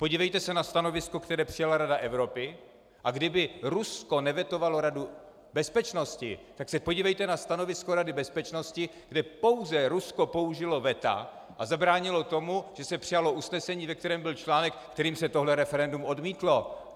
Podívejte se na stanovisko, které přijala Rada Evropy, a kdyby Rusko nevetovalo Radu bezpečnosti, tak se podívejte na stanovisko Rady bezpečnosti, kde pouze Rusko použilo veta a zabránilo tomu, že se přijalo usnesení, ve kterém byl článek, kterým se tohle referendum odmítlo.